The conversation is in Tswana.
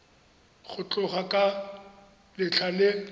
go tloga ka letlha le